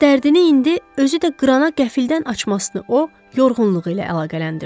Ancaq dərdini indi özü də qırana qəflətdən açmasını o yorğunluğu ilə əlaqələndirdi.